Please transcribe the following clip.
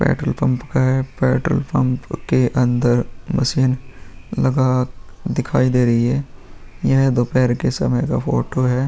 petrol pump का है petrol pump के अंदर मशीन लगा दिखाई दे रही है यह दोपहर के समय का फोटो है |